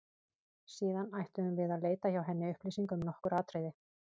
Síðan ætluðum við að leita hjá henni upplýsinga um nokkur atriði.